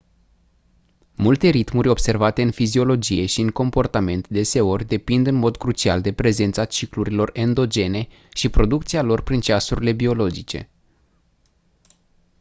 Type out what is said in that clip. multe ritmuri observate în fiziologie și în comportament deseori depind în mod crucial de prezența ciclurilor endogene și producția lor prin ceasurile biologice